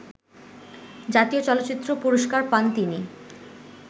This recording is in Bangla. জাতীয় চলচ্চিত্র পুরস্কার পান তিনি